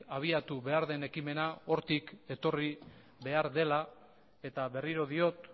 abiatu behar den ekimena hortik etorri behar dela eta berriro diot